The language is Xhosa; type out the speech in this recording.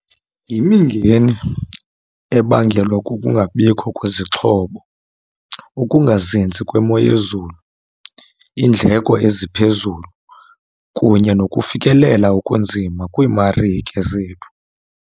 Yimingeni ebangelwa kukungabikho kwezixhobo, ukungazinzi kwemo yezulu, iindleko eziphezulu kunye nokufikelela okunzima kwiimarike zethu.